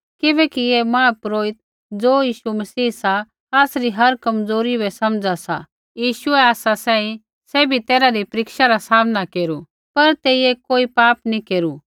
किबैकि ऐ महापुरोहित ज़ो यीशु मसीह सा आसरी हर कमजोरी बै समझा सा यीशुऐ आसा सांही सैभी तैरहा री परीक्षा रा सामना केरू पर तेइयै कोई पाप नैंई केरू